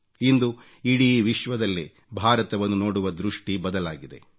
ಇಂದು ಇಡೀ ವಿಶ್ವದಲ್ಲೇ ಭಾರತವನ್ನು ನೋಡುವ ದೃಷ್ಟಿ ಬದಲಾಗಿದೆ